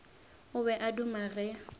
o be a duma ge